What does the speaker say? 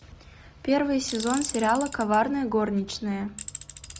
первый сезон сериала коварная горничная